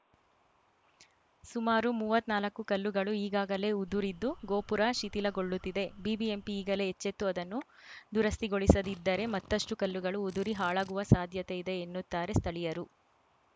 ಸುಮಾರು ಮೂವತ್ನಾಲ್ಕು ಕಲ್ಲುಗಳು ಈಗಾಗಲೇ ಉದುರಿದ್ದು ಗೋಪುರ ಶಿಥಿಲಗೊಳ್ಳುತ್ತಿದೆ ಬಿಬಿಎಂಪಿ ಈಗಲೇ ಎಚ್ಚೆತ್ತು ಅದನ್ನು ದುರಸ್ತಿಗೊಳಿಸದಿದ್ದರೆ ಮತ್ತಷ್ಟುಕಲ್ಲುಗಳು ಉದುರಿ ಹಾಳಾಗುವ ಸಾಧ್ಯತೆ ಇದೆ ಎನ್ನುತ್ತಾರೆ ಸ್ಥಳೀಯರು